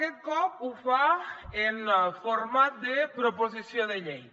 aquest cop ho fa en format de proposició de llei